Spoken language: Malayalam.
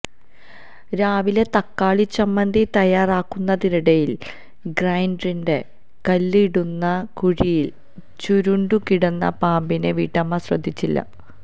രാവിലെ തക്കാളി ചമ്മന്തി തയറാക്കുന്നതിനിടയില് ഗ്രൈന്ററിന്റെ കല്ല് ഇടുന്ന കുഴിയില് ചുരുണ്ടു കിടന്ന പാമ്പിനെ വീട്ടമ്മ ശ്രദ്ധിച്ചില്ല